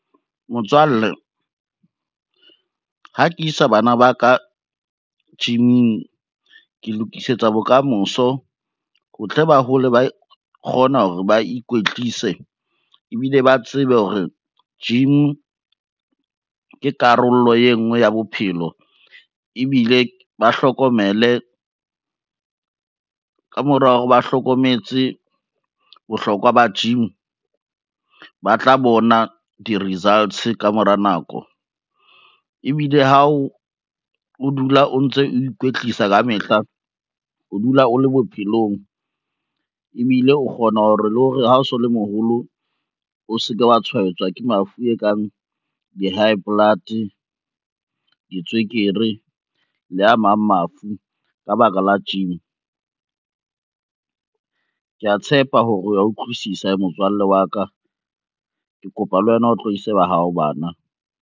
Motswalle, ha ke sa bana ba ka gym-ing ke lokisetsa bokamoso, ho tle ba hole ba kgona hore ba ikwetlise ebile ba tsebe hore gym ke karolo e ngwe ya bophelo ebile ba hlokomele, ka mora hore ba hlokometse bohlokwa ba gym, ba tla bona di-results ka mora nako. Ebile ha o dula o ntso o ikwetlisa ka mehla, o dula o le bophelong ebile o kgona hore le ho re ha o so le moholo o ske wa tshwaetswa ke mafu e kang di-high blood, ditswekere le a mang mafu ka baka la gym. Kea tshepa hore o ya utlwisisa motswalle wa ka, ke kopa le wena o tlo ise ba hao bana.